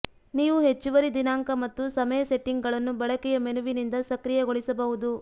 ನೀವು ಹೆಚ್ಚುವರಿ ದಿನಾಂಕ ಮತ್ತು ಸಮಯ ಸೆಟ್ಟಿಂಗ್ಗಳನ್ನು ಬಳಕೆಯ ಮೆನುವಿನಿಂದ ಸಕ್ರಿಯಗೊಳಿಸಬಹುದು